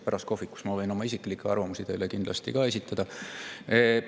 Pärast kohvikus ma võin kindlasti oma isiklikke arvamusi teile ka esitada.